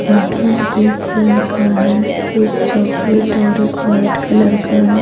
Apartment दो colour का है एक चॉकलेट और एक वाइट कलर का है।